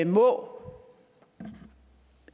må